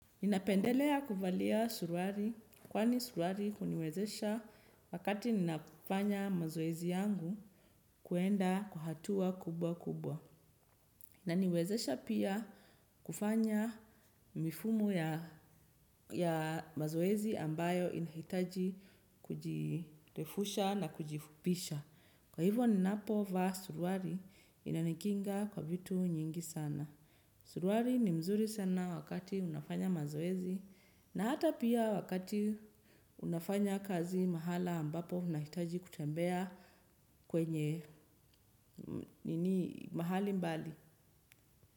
Ninapendelea kuvalia suruari kwani suruari huniwezesha wakati ninafanya mazoezi yangu kwenda kwa hatua kubwa kubwa. Inaniwezesha pia kufanya mifumo ya mazoezi ambayo inahitaji kujirefusha na kujifupisha. Kwa hivyo ninapovaa suruari inanikinga kwa vitu nyingi sana. Suruari ni mzuri sana wakati unafanya mazoezi na hata pia wakati unafanya kazi mahala ambapo unahitaji kutembea kwenye nini mahali mbali.